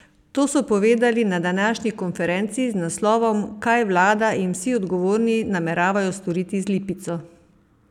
To so povedali na današnji konferenci z naslovom Kaj vlada in vsi odgovorni nameravajo storiti z Lipico?